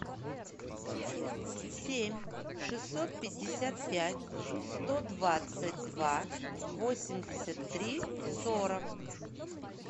семь шестьсот пятьдесят пять сто двадцать два восемьдесят три сорок